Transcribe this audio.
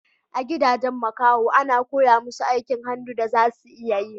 A gidajen makaho a na koya musu aikin hannu da za su iya yi